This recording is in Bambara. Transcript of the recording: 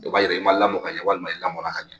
O b'a yira i ma lamɔ ka ɲɛ walima i lamɔnna ka ɲɛ